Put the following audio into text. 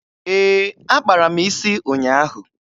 Ee, akpara m isi ụnyaahụ.